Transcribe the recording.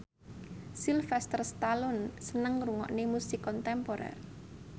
Sylvester Stallone seneng ngrungokne musik kontemporer